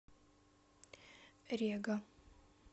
рега